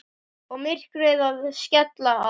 Og myrkrið að skella á.